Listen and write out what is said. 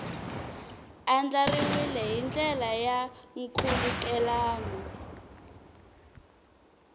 andlariwile hi ndlela ya nkhulukelano